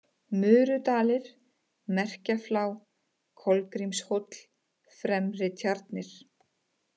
Murudalir, Merkjaflá, Kolgrímshóll, Fremri-Tjarnir